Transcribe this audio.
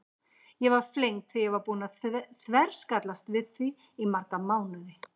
Ég var flengd þegar ég var búin að þverskallast við því í marga mánuði.